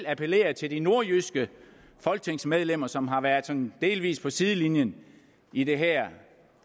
appellere til de nordjyske folketingsmedlemmer som har været sådan delvis på sidelinjen i det her